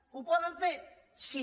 ho poden fer sí